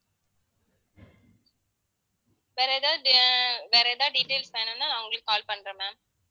வேற எதாவது ஆஹ் வேற எதாவது details வேணும்னா நான் உங்களுக்கு call பண்றேன் ma'am